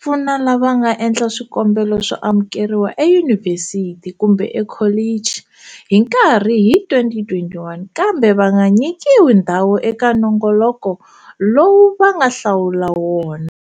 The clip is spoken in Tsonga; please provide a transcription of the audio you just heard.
pfuna lava nga endla swikombelo swo amukeriwa eyunivhesiti kumbe ekholichi hi nkarhi hi 2021 kambe va nga nyikiwi ndhawu eka nongoloko lowu va nga hlawula wona.